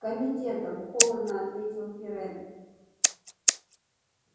комитетом холодно ответил пиренн